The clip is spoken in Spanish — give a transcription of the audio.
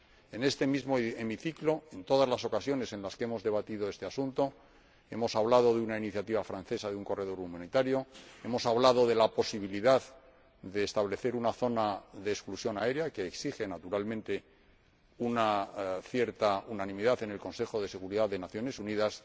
En este mismo hemiciclo, en todas las ocasiones en las que hemos debatido este asunto, hemos hablado de la iniciativa francesa de un corredor humanitario y hemos hablado de la posibilidad de establecer una zona de exclusión aérea, que exige, naturalmente, una cierta unanimidad en el Consejo de Seguridad de las Naciones Unidas.